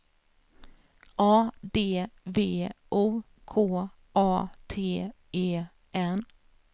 A D V O K A T E N